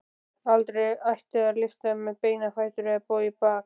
Aldrei ætti að lyfta með beina fætur eða bogið bakið.